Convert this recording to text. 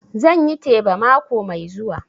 Zan yi teba mako mai zuwa